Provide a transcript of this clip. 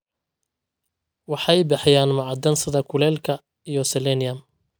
Waxay bixiyaan macdan sida kulaylka iyo selenium.